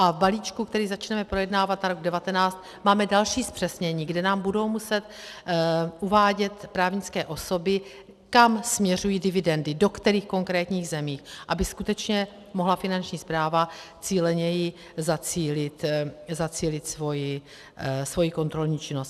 A v balíčku, který začneme projednávat na rok 2019, máme další zpřesnění, kde nám budou muset uvádět právnické osoby, kam směřují dividendy, do kterých konkrétních zemí, aby skutečně mohla Finanční správa cíleněji zacílit svoji kontrolní činnost.